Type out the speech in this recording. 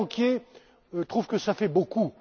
j'ai fait! Certains banquiers trouvent que ça fait